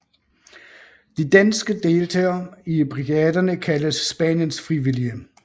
De danske deltagere i brigaderne kaldes spaniensfrivillige